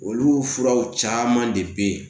Olu furaw caman de bɛ ye